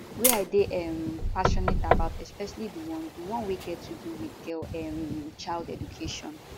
wey i dey um passionate about especially di one di one wey get to do wit girl um child education